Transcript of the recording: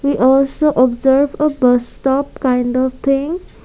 we also observe a bus stop kind of thing.